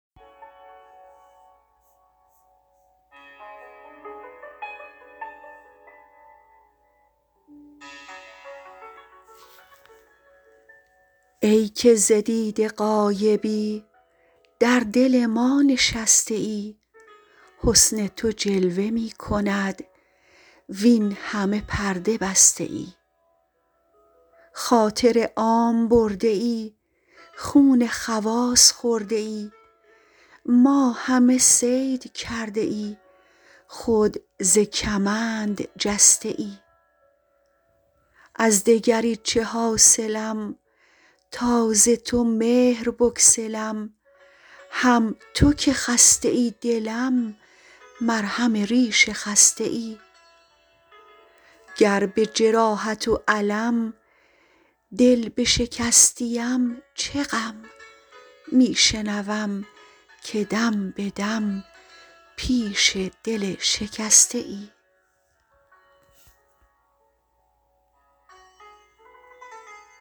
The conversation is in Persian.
ای که ز دیده غایبی در دل ما نشسته ای حسن تو جلوه می کند وین همه پرده بسته ای خاطر عام برده ای خون خواص خورده ای ما همه صید کرده ای خود ز کمند جسته ای از دگری چه حاصلم تا ز تو مهر بگسلم هم تو که خسته ای دلم مرهم ریش خسته ای گر به جراحت و الم دل بشکستیم چه غم می شنوم که دم به دم پیش دل شکسته ای